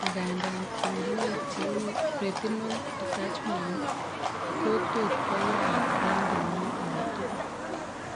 Ng'anda, uinwek cheu retinal detachment ko tot koyaag en kenyit age tugul